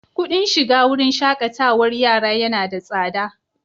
Kuɗin shiga wurin shaƙatarwar yara yana da tsada.